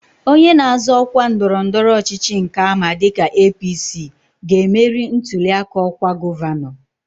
Onye na-azọ ọkwa ndọrọndọrọ ọchịchị nke ama dịka APC, ga-emeri ntụli aka ọkwa gọvanọ